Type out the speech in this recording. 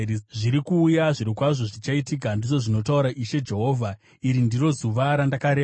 Zviri kuuya! Zvirokwazvo zvichaitika, ndizvo zvinotaura Ishe Jehovha. Iri ndiro zuva randakareva.